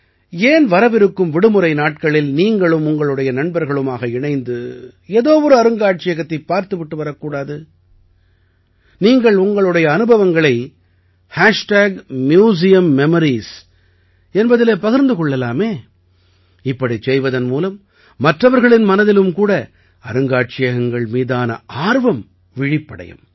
ஏன் வரவிருக்கும் விடுமுறை நாட்களில் நீங்களும் உங்களுடைய நண்பர்களும் இணைந்து ஏதோ ஒரு அருங்காட்சியகத்தைப் பார்த்து விட்டு வரக்கூடாது நீங்கள் உங்களுடைய அனுபவங்களை மியூசியம்மெமோரீஸ் என்பதிலே பகிர்ந்து கொள்ளலாமே இப்படிச் செய்வதன் மூலம் மற்றவர்களின் மனதிலும் கூட அருங்காட்சியகங்கள் மீதான ஆர்வம் விழிப்படையும்